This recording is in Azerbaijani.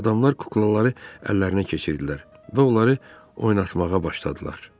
Adamlar kuklaları əllərinə keçirdilər və onları oynatmağa başladılar.